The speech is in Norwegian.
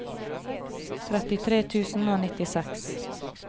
trettitre tusen og nittiseks